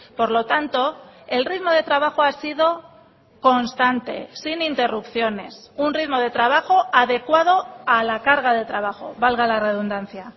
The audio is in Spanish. por lo tanto el ritmo de trabajo ha sido constante sin interrupciones un ritmo de trabajo adecuado a la carga de trabajo valga la redundancia